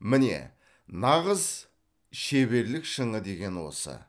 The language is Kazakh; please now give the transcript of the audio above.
міне нағыз шеберлік шыңы деген осы